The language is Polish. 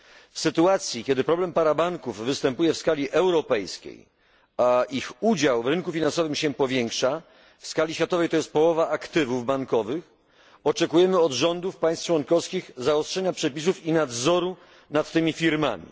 W sytuacji, kiedy problem parabanków występuje w skali europejskiej, a ich udział w rynku finansowym się powiększa w skali światowej to jest połowa aktywów bankowych oczekujemy od rządów państw członkowskich zaostrzenia przepisów i nadzoru nad tymi firmami.